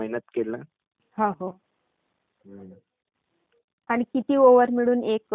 हो बोल, आणि किती ओव्हर मिळून ते हे राहाते..